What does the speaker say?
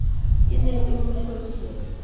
e ne e mo hlokisa